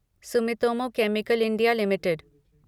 Sumitomo chemical India limited